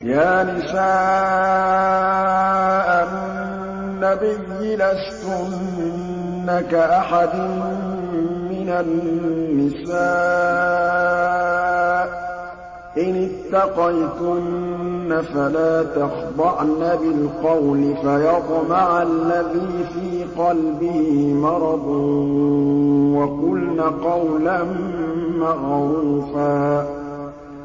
يَا نِسَاءَ النَّبِيِّ لَسْتُنَّ كَأَحَدٍ مِّنَ النِّسَاءِ ۚ إِنِ اتَّقَيْتُنَّ فَلَا تَخْضَعْنَ بِالْقَوْلِ فَيَطْمَعَ الَّذِي فِي قَلْبِهِ مَرَضٌ وَقُلْنَ قَوْلًا مَّعْرُوفًا